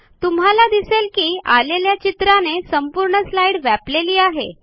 तुम्हाला दिसेल की आलेल्या चित्राने संपूर्ण स्लाईड व्यापलेली आहे